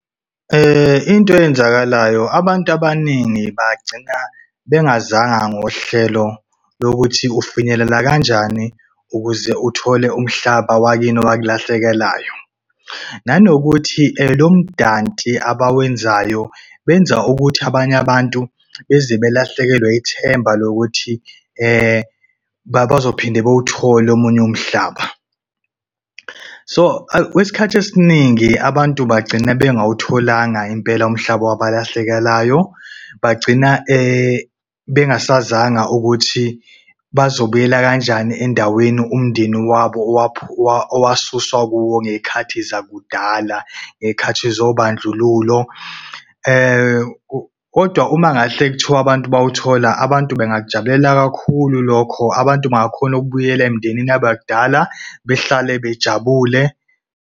Into eyenzakalayo, abantu abaningi bagcina bengazanga ngohlelo lokuthi ufinyelela kanjani ukuze uthole umhlaba wakini owakulahlekelayo. Nanokuthi lo mdanti abawenzayo benza ukuthi abanye abantu beze belahlekelwe ithemba lokuthi bazophinda bewuthole omunye umhlaba. So kwesikhathi esiningi, abantu bagcina bengawutholanga impela umhlaba wabalahlekelayo, bagcina bengasazanga ukuthi bazobuyela kanjani endaweni umndeni wabo owasusa kuwo ngeyikhathi zakudala, ngeyikhathi zobandlululo. Kodwa uma kungahle kuthiwa abantu bawuthola, abantu bangakujabulela kakhulu lokho. Abantu bangakhona ukubuyela emndenini yabo yakudala behlale bejabule.